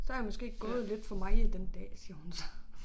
Så har hun måske gået lidt for meget den dag siger hun så